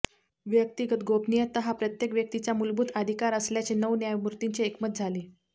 व्यक्तिगत गोपनीयता हा प्रत्येक व्यक्तीचा मूलभूत अधिकार असल्याचे नऊ न्यायमूर्तींचे एकमत झाले